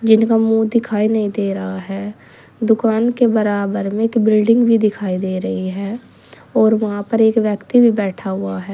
जिनका मुंह दिखाई नहीं दे रहा है। दुकान के बराबर में एक बिल्डिंग भी दिखाई दे रही है और वहां पर एक व्यक्ति भी बैठा हुआ है।